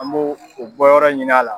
An b' o bɔyɔrɔ ɲin'a la.